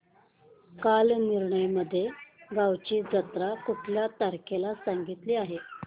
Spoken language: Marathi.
कालनिर्णय मध्ये गावाची जत्रा कुठल्या तारखेला सांगितली आहे